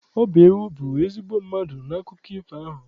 Ọ bụ ewu bụ ezigbo mmadụ n'akụkọ ifo ahụ.